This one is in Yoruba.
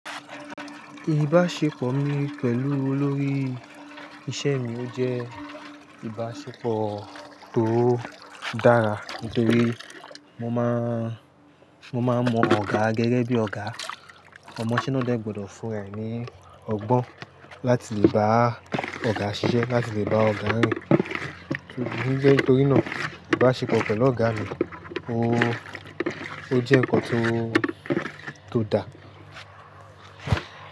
Ìbáṣepọ̀ mi pẹ̀lú olórí iṣẹ́ mi ó jẹ́ ìbáṣepọ̀ tó dára nítorí mo má ń mọ ọ̀gá gẹ́gẹ́ bí ọ̀gá. Ọmọ ise na dẹ gbọdọ̀ fún ra e ní ọgbọ́n láti lè bá ọ̀gá ṣiṣẹ́, láti lè bá ọ̀gá rìn. O jẹ́ nítorínàa ìbáṣepọ̀ pẹ̀lú ọ̀gá mi, o, ó jẹ́ nǹkan tó dá.